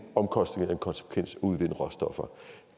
omkostning og en konsekvens at udvinde råstoffer